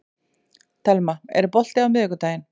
Telma, er bolti á miðvikudaginn?